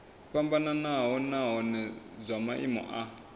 fhambanaho nahone zwa maimo a